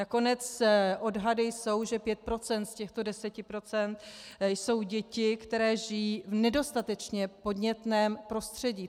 Nakonec odhady jsou, že 5 % z těchto 10 % jsou děti, které žijí v nedostatečně podnětném prostředí.